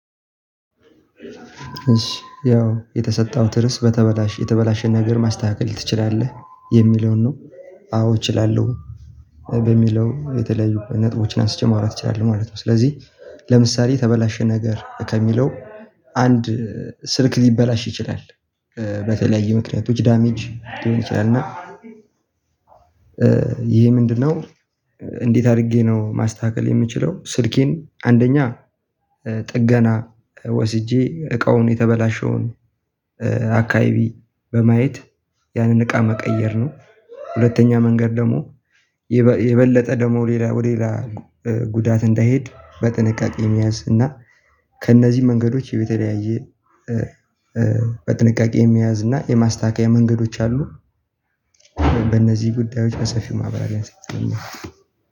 እሺ ያው የተሰጠሁት ርዕስት በተበላሽ የተበላሸን ነገር ማስተካከል ትችላለህ የሚለውን ነው። አዎ እችላለሁ። በሚለው የተለያዩ ነጥቦችን አንስቼ ማውራት እችላለሁ ማለት ነው። ስለዚህ ለምሳሌ ተበላሸ ነገር ከሚለው አንድ ስልክ ሊበላሽ ይችላል። በተለያዩ ምክንያቶች ዳሜጅ ሊሆን ይችላል እና። ይሄ ምንድነው? እንዴት አድርጌ ነው ማስተካከል የምችለው ስልኬን አንደኛ ጥገና ወስጄ እቃውን የተበላሸውን። ኧ አቃያይቢ በማየት ያንን እቃ መቀየር ነው። ሁለተኛ መንገድ ደግሞ የበለጠ ደግሞ ሌላ ወደ ሌላ ጉዳት እንዳይሄድ በጥንቃቄ መያዝ እና ከእነዚህ መንገዶች የተለያየ ኧ በጥንቃቄ መያዝ እና የማስተካከያ መንገዶች አሉ። በእነዚህ ጉዳዮች በሰፊው ማብራሪያ ሴት ነው።